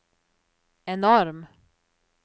enorm